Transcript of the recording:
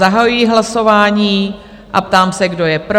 Zahajuji hlasování a ptám se, kdo je pro?